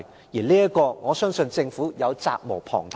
在這方面，我相信政府責無旁貸。